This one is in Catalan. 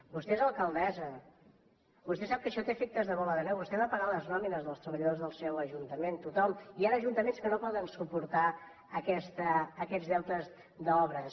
vostè és alcaldessa vostè sap que això té efectes de bola de neu vostè ha de pagar les nòmines dels treballadors del seu ajuntament tothom hi han ajuntaments que no poden suportar aquests deutes d’obres